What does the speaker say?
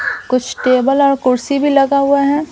कुछ टेबल और कुर्सी भी लगा हुआ है.